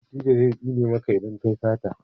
dattijo zai tsine maka idan ka yi sata